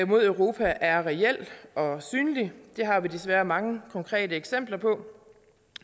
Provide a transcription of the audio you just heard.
mod europa er reel og synlig det har vi desværre mange konkrete eksempler på